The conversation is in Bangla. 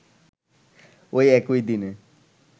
ঐ একই দিনে